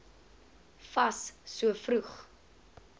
fas so vroeg